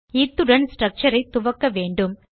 இத்துடன் ஸ்ட்ரக்சர் ஐத் துவக்கவேண்டும்